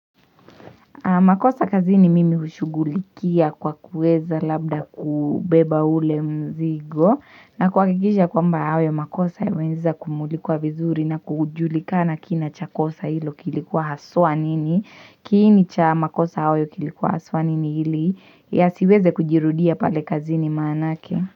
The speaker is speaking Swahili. Makosa kazini mimi hushugulikia kwa kueza labda kubeba ule mzigo na kuhakikisha kwamba hayo makosa yameweza kumulikwa vizuri na kujulikana kina cha kosa hilo kilikuwa haswa nini. Kiini cha makosa hayo kilikuwa haswa nini ili yasiweze kujirudia pale kazini manake.